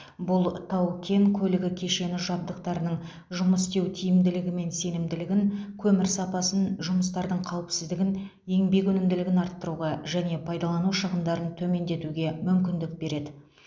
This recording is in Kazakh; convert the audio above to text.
бұл тау кен көлігі кешені жабдықтарының жұмыс істеу тиімділігі мен сенімділігін көмір сапасын жұмыстардың қауіпсіздігін еңбек өнімділігін арттыруға және пайдалану шығындарын төмендетуге мүмкіндік береді